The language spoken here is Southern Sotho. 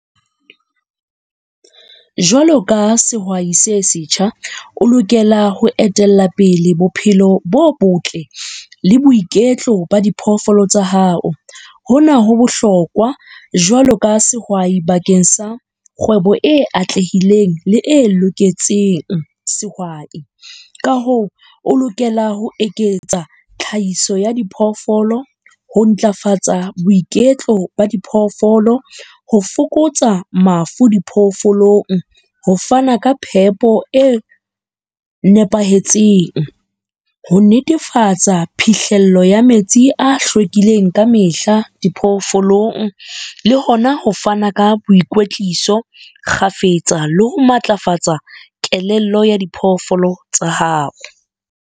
Jwalo ka sehwai se setjha, o lokela ho etella pele bophelo bo botle le boiketlo ba diphoofolo tsa hao. Hona ho bohlokwa jwalo ka sehwai bakeng sa kgwebo e atlehileng le e loketseng sehwai. Ka hoo o lokela ho eketsa tlhahiso ya diphoofolo, ho ntlafatsa boiketlo ba diphoofolo, ho fokotsa mafu diphoofolong, ho fana ka phepo e nepahetseng, ho netefatsa phihlelo ya metsi a hlwekileng ka mehla diphoofolong, le hona ho fana ka boikwetliso kgafetsa le ho matlafatsa kelello ya diphoofolo tsa hao.